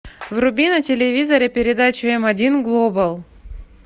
вруби на телевизоре передачу м один глобал